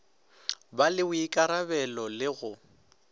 ba le boikarabelo le go